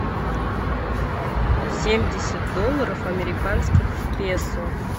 семьдесят долларов американских в песо